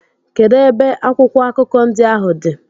Kedụ ebe akwụkwọ akụkọ ndị ahụ dị?